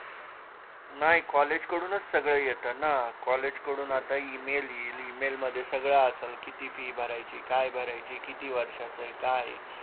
नाय COLLEGE कडून सगळं येत ना COLLEGE कडून आता EMAIL येईल EMAIL मध्ये सगळं असल किती FEE भरायची काय भरायची किती वर्षाचं ये काय ये